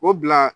O bila